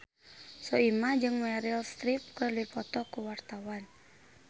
Soimah jeung Meryl Streep keur dipoto ku wartawan